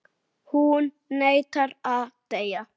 Hún neitar að deyja.